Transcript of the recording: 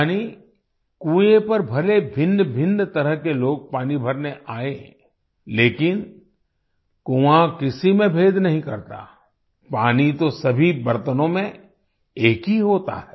यानीकुएं पर भले भिन्नभिन्न तरह के लोग पानी भरने आए लेकिन कुआँ किसी में भेद नहीं करता पानी तो सभी बर्तनों में एक ही होता है